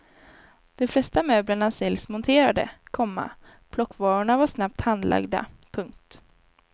De flesta möblerna säljs monterade, komma plockvarorna var snabbt handlagda. punkt